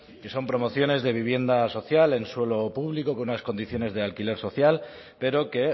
que son promociones de vivienda social en suelo público con unas condiciones de alquiler social pero que